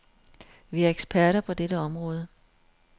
Vi er eksperter på dette område.